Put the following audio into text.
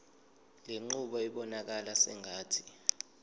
lenqubo ibonakala sengathi